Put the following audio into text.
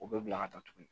O bɛ bila ka taa tuguni